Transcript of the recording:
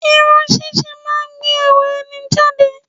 Irun ṣíṣe máa ń gbé ẹwà ẹni jáde